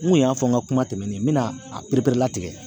N kun y'a fɔ n ka kuma tɛmɛnen n mena a perepere latigɛ